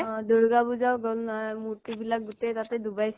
অ' দুৰ্গা পূঁজাও গল নহয় মূৰ্তিবিলাক গোটেই তাতে ডুবাইছে